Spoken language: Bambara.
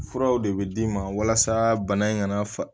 Furaw de bɛ d'i ma walasa bana in kana fa